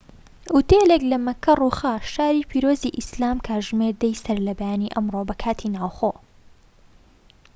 ئوتێلێك لە مەککە ڕووخا، شاری پیرۆزی ئیسلام کاتژمێر ١٠ی سەرلەبەیانی ئەمڕۆ بە کاتی ناوخۆ